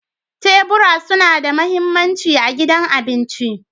Tebura suna da mahimmanci a gidan abinci.